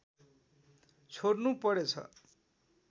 छोड्नु परेछ